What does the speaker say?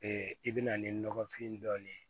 i bɛna ni nɔgɔfin dɔɔnin ye